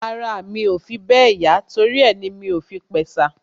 Ara mi ò fi bẹ́ẹ̀ yá torí ẹ ni mi ò fi pẹ̀sà